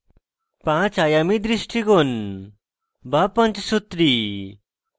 পাঁচ আযামী দৃষ্টিকোণ বা panchsutri